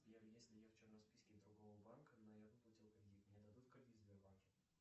сбер если я в черном списке другого банка но я выплатил кредит мне дадут кредит в сбербанке